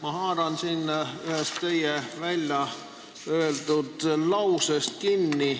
Ma haaran kinni ühest teie lausest.